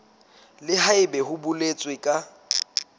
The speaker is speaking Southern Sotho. le haebe ho boletswe ka